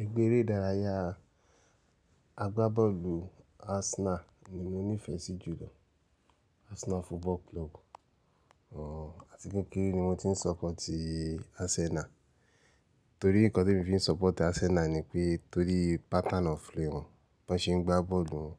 Ẹgbẹ́ eré ìdárayá agbábọ́ọ̀lù Arsenal ni mo nífẹ̀ẹ́ sí jù lọ. Arsenal Football Club. Àti kekere ní mo ti ń sọpooti Arsenal. Torí nǹkan tí emi fi ń support Arsenal ni pé torí pattern of play wọn, bí wọ́n ṣe ń gbá bọ́ọ̀lù won,